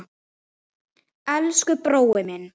Elsku brói minn.